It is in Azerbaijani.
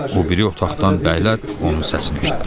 O biri otaqdan bəylər onun səsini eşitdilər.